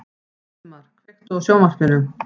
Valdemar, kveiktu á sjónvarpinu.